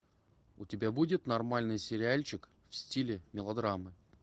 у тебя будет нормальный сериальчик в стиле мелодрамы